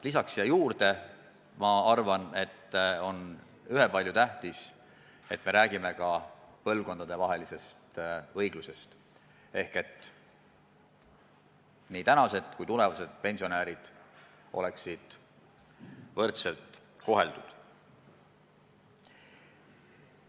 Lisan siia juurde, et on ühepalju tähtis, et me räägime ka põlvkondadevahelisest õiglusest: praegused ja tulevased pensionärid peaksid olema võrdselt koheldud.